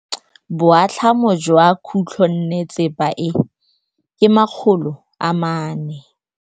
Boatlhamô jwa khutlonnetsepa e, ke 400.